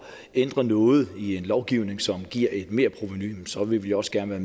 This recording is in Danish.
ændre noget i en lovgivning som giver et merprovenu så vil vi også gerne